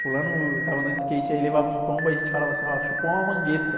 Fulano estava andando de skate e levava um tombo e aí a gente falava assim, ó, chupou uma mangueta.